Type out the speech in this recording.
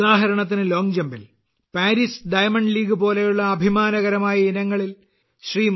ഉദാഹരണത്തിന് ലോംഗ്ജമ്പിൽ Paris Diamond League പോലുള്ള അഭിമാനകരമായ ഇനങ്ങളിൽ ശ്രീ